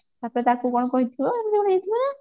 ତାପରେ ତାକୁ କଣ କହିଥିବ ଏମତି କଣ ହେଇଥିବ